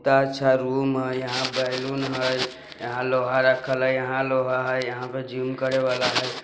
तअ अच्छा रूम हय यहाँ बैलून हय यहाँ लोहा रखल हय यहाँ लोहा हय यहाँ पे जिम करे वाला हय।